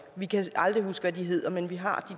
jeg kan aldrig huske hvad de hedder men vi har